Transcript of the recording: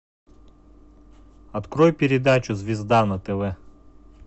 открой передачу звезда на тв